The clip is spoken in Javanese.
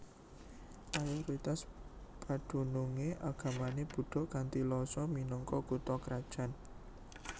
Mayoritas padunungé agamané Buddha kanthi Lhasa minangka kutha krajané